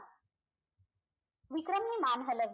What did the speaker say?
विक्रमने मान हलवली